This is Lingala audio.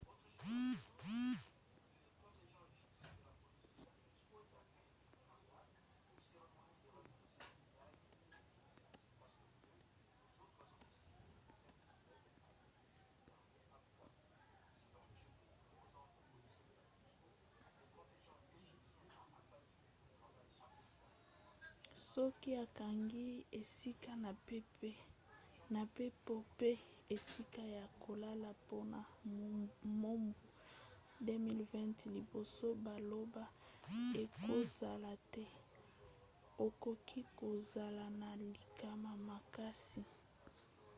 soki okangaki esika na mpepo mpe esika ya kolala mpona mobu 2020 liboso baloba ekozala te okoki kozala na likama makasi